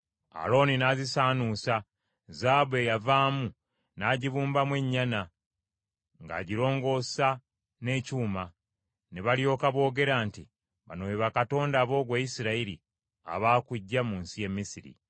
Alooni n’azisaanuusa; zaabu eyavaamu n’agibumbamu ennyana, ng’agirongoosa n’ekyuma. Ne balyoka boogera nti, “Bano be bakatonda bo ggwe Isirayiri abaakuggya mu nsi y’e Misiri!”